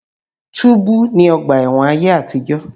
Túbú ni ọgbà ẹ̀wọ̀n ayé àtìjọ̀.